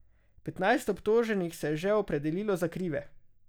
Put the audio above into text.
Petnajst obtoženih se je že opredelilo za krive.